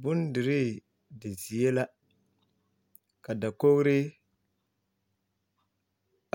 Bondirii zie la ka dakogre